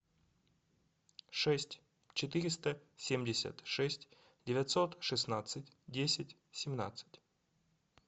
шесть четыреста семьдесят шесть девятьсот шестнадцать десять семнадцать